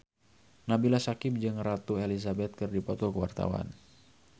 Nabila Syakieb jeung Ratu Elizabeth keur dipoto ku wartawan